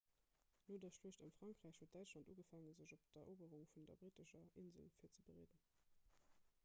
no der schluecht ëm frankräich huet däitschland ugefaangen sech op d'eroberung vun der brittescher insel virzebereeden